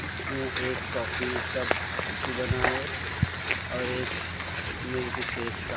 इसमें एक कॉफी का फोटो बना है और एक श्श मिल्क शेक का।